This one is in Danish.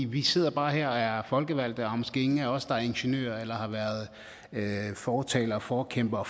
vi sidder bare her og er folkevalgte og der er måske ingen af os der er ingeniører eller har været fortalere og forkæmpere